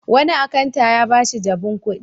Wani akanta ya ba shi jabun kuɗi.